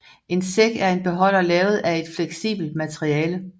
En sæk er en beholder lavet af et fleksibelt materiale